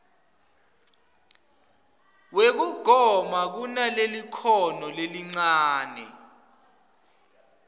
wekugoma kunalelikhono lelincane